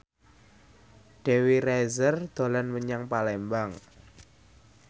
Dewi Rezer dolan menyang Palembang